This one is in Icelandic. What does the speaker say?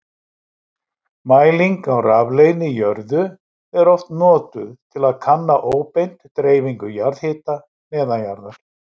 Mæling á rafleiðni í jörðu er oft notuð til að kanna óbeint dreifingu jarðhita neðanjarðar.